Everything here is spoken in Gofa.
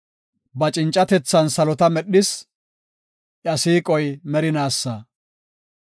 Ba cincatethan salota medhis; iya siiqoy merinaasa.